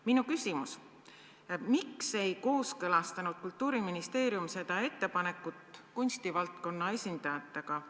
" Minu küsimus: miks ei kooskõlastanud Kultuuriministeerium seda ettepanekut kunstivaldkonna esindajatega?